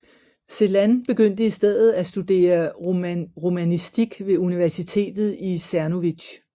Celan begyndte i stedet at studere romanistik ved universitetet i Czernowitz